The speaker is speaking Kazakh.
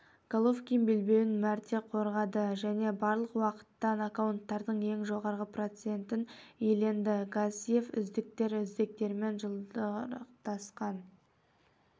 головкин белбеуін мәрте қорғады және барлық уақыттағы нокауттардың ең жоғарғы процентін иеленді гассиев үздіктер үздіктермен жұдырықтасатын